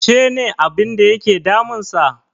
She ne abinda yake damunsa?